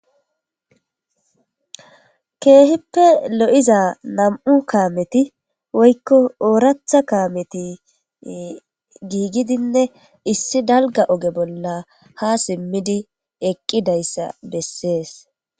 keeheppe lo7iza nam7u kaameti woykko ooratha kaameti giigidinne issi dalga oge bolla ha simmidi eqqidayssa bessees